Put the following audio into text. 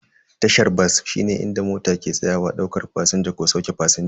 Tashar bas shine inda mota ke tsayawa daukar fasinja ko sauke fasinja.